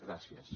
gràcies